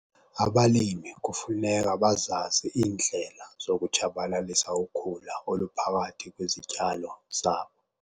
Abalimi kufuneka bazazi iindlela zokutshabalalisa ukhula oluphakathi kwezityalo zabo.